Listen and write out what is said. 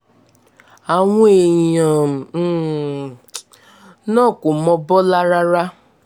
àwọn èèyàn um náà kò mọ bọ́lá rárá